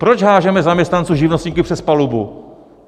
Proč hážeme zaměstnance, živnostníky přes palubu?